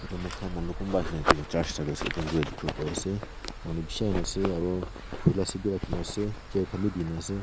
yate moi khan manu kunba ahina itu church service attend kuri dikhibole pari ase manu bishi ahi na ase aro khula seat bi rakhi kena ase chair khan bi di na ase.